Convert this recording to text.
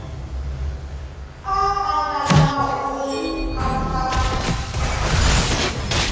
a andlala mahungu u pfa